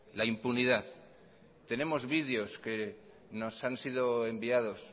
la impunidad tenemos videos que nos han sido enviados